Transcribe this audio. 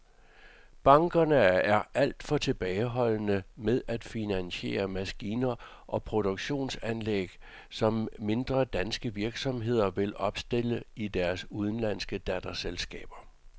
Bankerne er alt for tilbageholdende med at finansiere maskiner og produktionsanlæg, som mindre danske virksomheder vil opstille i deres udenlandske datterselskaber.